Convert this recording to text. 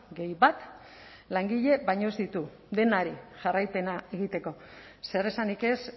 gehi bat langile baino ez ditu denari jarraipena egiteko zer esanik ez